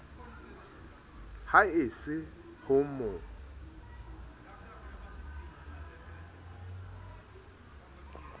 ha e se ho mo